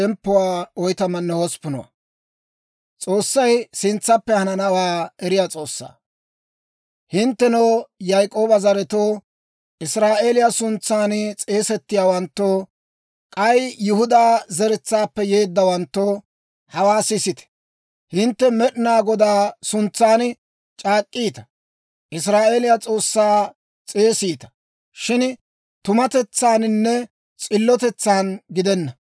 «Hinttenoo Yaak'ooba zaretoo, Israa'eeliyaa suntsan s'eesettiyaawanttoo, k'ay Yihudaa zeretsaappe yeeddawanttoo, hawaa sisite. Hintte Med'inaa Godaa suntsan c'aak'k'iita; Israa'eeliyaa S'oossaa s'eesiita; shin tumatetsaaninne s'illotetsan gidenna.